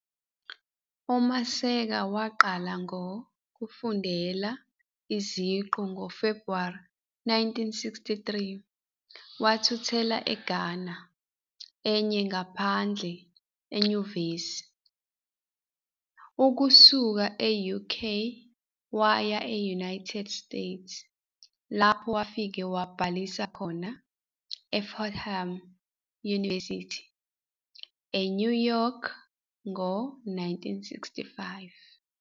UMasekela waqala ngoku fund ela qu. NgoFebhuwari 1963 wathuthela eGhanahlukanisota enye ngaphandle eNyuvesi. Ukusuka e-UK waya e-United States lapho kufika wabhalisa khona eFordham University, eNew York ngo-1965.